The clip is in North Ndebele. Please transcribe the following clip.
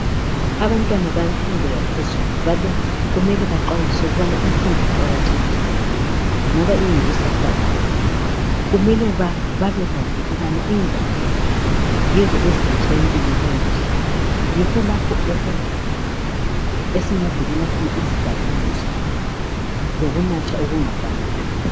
Abantwana bemfundo yaphezulu mele baxwayiswe ngokuqakatheka kwemfundo ngoba iyikusasa labo. Mele babekwazi ukuthi ingwalo yizo eziletha impilo engcono yikho lapho esingavikela khona izidakamizwa lokunatha okungafanelanga.